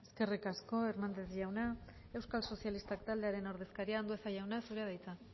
eskerrik asko hernández jauna euskal sozialistak taldearen ordezkaria andueza jauna zurea da hitza